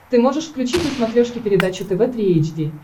ты можешь включить на смотрешке передачу тв три эйч ди